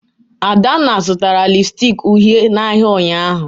Adanna zụtara lịpstịk uhie n'ahịa ụnyahụ